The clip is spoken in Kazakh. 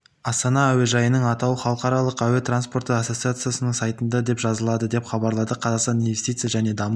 астана әуежайының атауы халықаралық әуе транспорты ассоциациясының сайтында деп жазылады деп хабарлады қазақстан инвестиция және даму